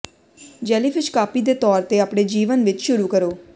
jellyfish copy ਦੇ ਤੌਰ ਤੇ ਆਪਣੇ ਜੀਵਨ ਵਿੱਚ ਸ਼ੁਰੂ ਕਰੋ